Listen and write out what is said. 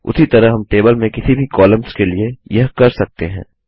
उसी तरह हम टेबल में किसी भी कॉलम्स के लिए यह कर सकते हैं